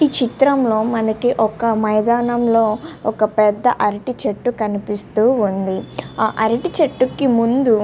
ఈ చిత్రం లో మనకి ఒక మైదనం లో ఒక పెద్ద అరటి చేట్టు కనిపిస్తూ వునాది ఆ అరటి చేట్టు కి ముందూ--